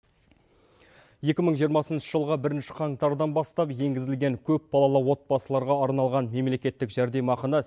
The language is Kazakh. екі мың жиырмасыншы жылғы бірінші қаңтардан бастап енгізілген көпбалалы отбасыларға арналған мемлекеттік жәрдемақыны